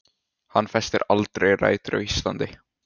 Hann festir aldrei rætur á Íslandi.